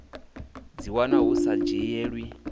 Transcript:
dzi wana hu sa dzhielwi